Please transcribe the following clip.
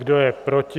Kdo je proti?